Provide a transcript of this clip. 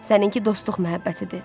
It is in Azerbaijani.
Sənin ki, dostluq məhəbbətidir.